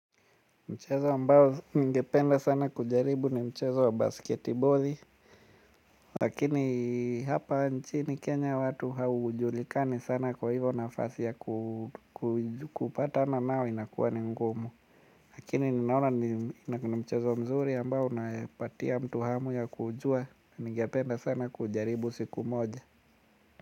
Mchezo ambao ningependa sana kujaribu ni mchezo wa basketiboli. Lakini hapa nchini Kenya watu haujulikani sana kwa hivyo nafasi ya kupatana nayo inakuwa ni ngumu. Lakini ninaona ni mchezo mzuri ambao unapatia mtu hamu ya kujua. Ningependa sana kujaribu siku moja.